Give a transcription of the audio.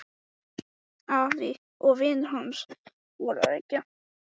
En hvers vegna ákvað Þorsteinn að kæra Íslenska Sjónvarpsfélagið?